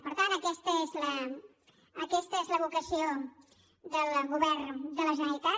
per tant aquesta és la vocació del govern de la generalitat